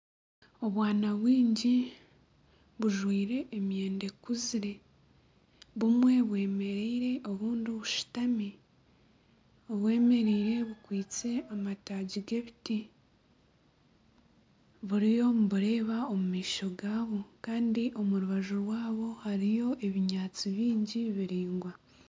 Obwana bwingi bujwire emyenda ekuzire, bumwe bwemereire obundi bushutami, obwemereire bukwitse amataagi g'ebiti buriyo nibureeba omu maisho gabwo kandi omu rubaju rwabo hariyo ebinyaatsi bingi biraingwa